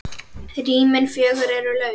Rýmin fjögur eru laus.